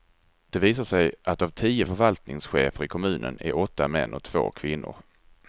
Det visar sig att av tio förvaltningschefer i kommunen är åtta män och två kvinnor.